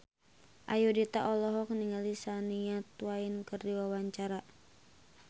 Ayudhita olohok ningali Shania Twain keur diwawancara